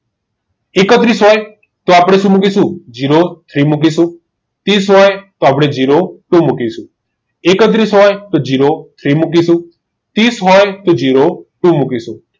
એકત્રીસ હોય તો આપણે શું મુકીશુ zero three મૂકીશું હોય તો આપણ zero two મુકીશું એકત્રીસ હોય તો zero મુકી ત્રીસ હોય તો zero two મુકીશું